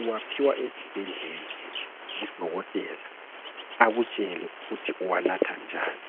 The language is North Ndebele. uwaphiwa esibhedlela, ngudokotela, akutshele ukuthi uwanatha njani.